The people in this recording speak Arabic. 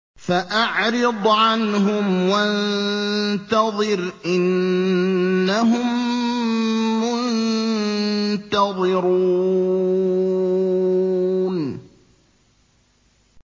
فَأَعْرِضْ عَنْهُمْ وَانتَظِرْ إِنَّهُم مُّنتَظِرُونَ